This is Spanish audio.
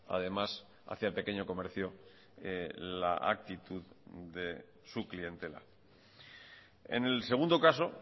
además hacia el pequeño comercio la actitud de su clientela en el segundo caso